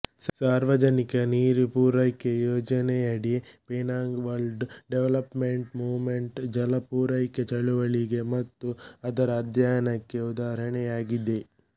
ಸಾರ್ವಜನಿಕ ನೀರು ಪೂರೈಕೆ ಯೋಜನೆಯಡಿ ಪೆನಾಂಗ್ ವರ್ಲ್ಡ ಡೆವಲಪ್ಮೆಂಟ್ ಮೂಮೆಂಟ್ ಜಲ ಪೂರೈಕೆ ಚಳವಳಿಗೆ ಮತ್ತು ಅದರ ಅಧ್ಯಯನಕ್ಕೆ ಉದಾಹರಣೆಯಾಗಿದೆ